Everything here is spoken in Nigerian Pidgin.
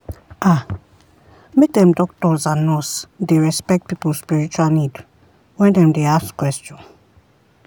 ah make dem doctors and nurse dey respect people spiritual need when dem dey ask question.